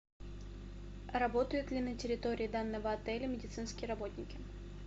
работают ли на территории данного отеля медицинские работники